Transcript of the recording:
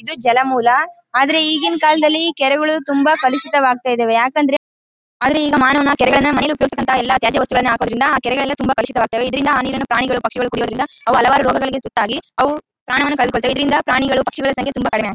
ಇದು ಜಲಮೂಲ ಆದ್ರೆ ಈಗಿನ ಕಾಲದಲ್ಲಿ ಕೆರೆಗಳು ತುಂಬಾ ಕಲುಷಿತ ವಗ್ತಾಇದ್ದವೇ ಯಾಕ್ ಅಂದ್ರೆ